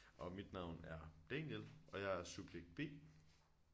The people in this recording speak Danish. Og mit navn er Daniel og jeg er subjekt B